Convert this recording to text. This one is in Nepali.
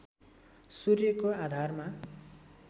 सूर्यको आधारमा